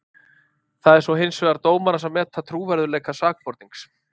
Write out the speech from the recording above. Það er svo hins vegar dómarans að meta trúverðugleika sakbornings.